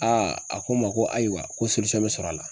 Aa a ko n ma ko ayiwa ko be sɔrɔ a la.